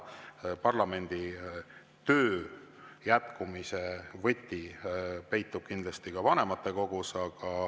Parlamendi töö jätkumise võti peitub kindlasti ka vanematekogus.